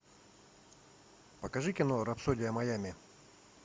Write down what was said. покажи кино рапсодия майами